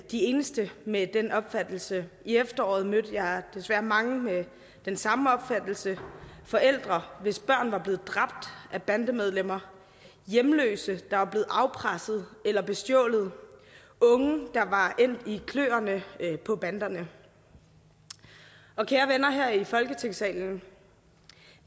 de eneste med den opfattelse i efteråret mødte jeg desværre mange med den samme opfattelse forældre hvis børn var blevet dræbt af bandemedlemmer hjemløse der var blevet afpresset eller bestjålet unge der var endt i kløerne på banderne kære venner her i folketingssalen